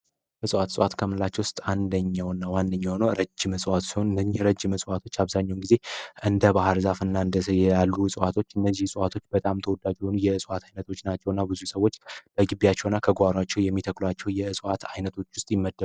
እጽዋት እጽዋት ከምንላቸው ውስጥ አንደኛው ሲሆን በጣም ረጅም እና እንደ ባህር ዛፍ እና ጽድ ያሉ ዕዋቶች ሰዎች በግቢያቸው እና በጓሮአቸው ከሚተክሏቸው ከሚባሉት አይነት የሚመደቡ ናቸው።